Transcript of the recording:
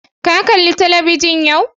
Ka kala talabijin yau?